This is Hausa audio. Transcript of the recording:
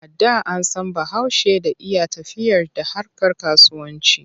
A da an san Bahaushe da iya tafiyar da harkar kasuwanci.